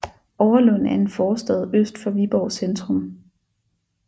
Overlund er en forstad øst for Viborg centrum